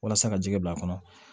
Walasa ka jigi bila a kɔnɔ